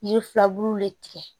Yiri filaburu de tigɛ